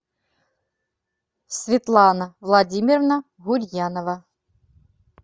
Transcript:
светлана владимировна гурьянова